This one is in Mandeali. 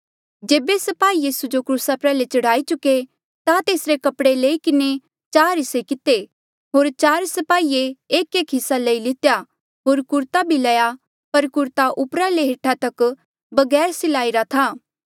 जेबे स्पाही यीसू जो क्रूसा प्रयाल्हे चढ़ाई चुके ता तेसरे कपड़े लई किन्हें चार हिस्से किते होर चार स्पाहिये एकएक हिस्सा लेई लितेया होर कुरता भी लया पर कुरता उपरा ले हेठा तक बगैर सलाई रा था